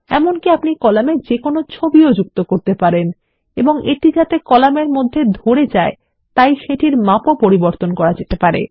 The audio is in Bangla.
এমনকি আপনি কলামে যেকোনো ছবি যুক্ত করতে পারেন এবং এটি যাতে কলামের মধ্যে ধরে যায় তাই সেটির মাপও পরিবর্তন করতে পারেন